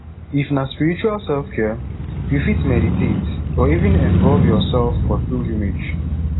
if na spiritual selfcare you fit meditate or even involve your self for pilgrimage